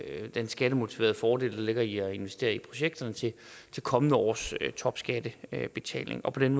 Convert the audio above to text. den skattemotiverede fordel der ligger i at investere i projekterne til kommende års topskattebetaling og på den